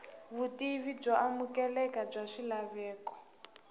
vutivi byo amukeleka bya swilaveko